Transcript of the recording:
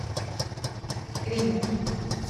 риму